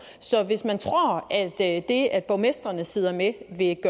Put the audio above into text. så hvis man tror at det at borgmestrene sidder med vil